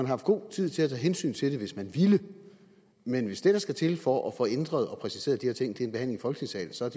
haft god tid til at tage hensyn til det hvis man ville men hvis det der skal til for at få ændret og præciseret de her ting er en behandling i folketingssalen så er